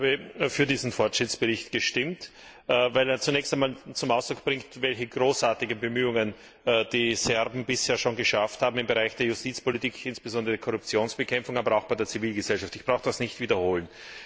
Ich habe für diesen Fortschrittsbericht gestimmt, weil er zunächst einmal zum Ausdruck bringt, welche großartigen Bemühungen die Serben bisher schon geschafft haben im Bereich der Justizpolitik, insbesondere bei der Korruptionsbekämpfung, aber auch bei der Zivilgesellschaft, ich brauche das nicht zu wiederholen.